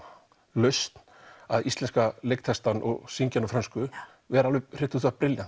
lausn að íslenska leiktextann og syngja hann á frönsku vera brilljant